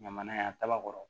Ɲamana yan daba kɔrɔ